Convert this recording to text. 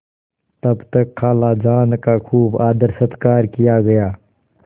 तब तक खालाजान का खूब आदरसत्कार किया गया